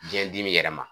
Biyɛn dimi yɛrɛ ma